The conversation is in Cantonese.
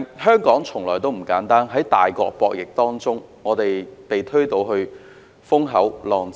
香港從來不簡單，在大國博弈之中被推到風口浪尖。